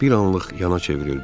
Bir anlıq yana çevrildi.